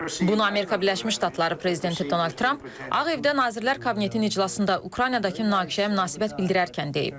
Bunu Amerika Birləşmiş Ştatları prezidenti Donald Tramp Ağ Evdə Nazirlər Kabinetinin iclasında Ukraynadakı münaqişəyə münasibət bildirərkən deyib.